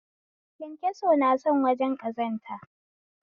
kyankyaso na son wajen ƙazanta